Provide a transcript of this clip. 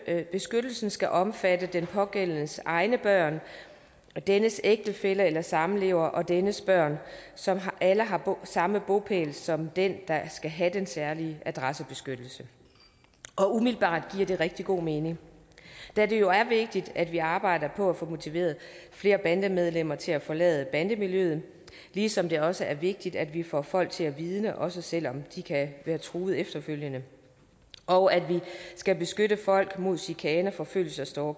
at beskyttelsen skal omfatte den pågældendes egne børn og dennes ægtefælle eller samlever og dennes børn som alle har samme bopæl som den der skal have den særlige adressebeskyttelse umiddelbart giver det rigtig god mening da det jo er vigtigt at vi arbejder på at få motiveret flere bandemedlemmer til at forlade bandemiljøet ligesom det også er vigtigt at vi får folk til at vidne også selv om de kan være truet efterfølgende og at vi skal beskytte folk mod chikane forfølgelse og